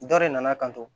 Dɔ de nana kanto